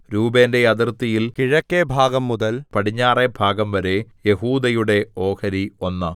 രൂബേന്റെ അതിർത്തിയിൽ കിഴക്കെഭാഗംമുതൽ പടിഞ്ഞാറെ ഭാഗംവരെ യെഹൂദയുടെ ഓഹരി ഒന്ന്